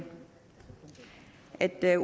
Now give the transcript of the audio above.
at der